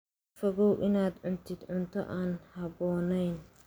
Ka fogow inaad cuntid cunto aan habboonayn.